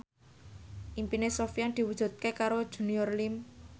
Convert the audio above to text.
impine Sofyan diwujudke karo Junior Liem